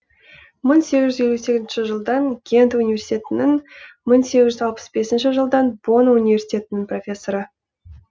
мың сегіз жүз елу сегізінші жылдан гент университетінің мың сегіз жүз алпыс бесінші жылдан бонн университетінің профессоры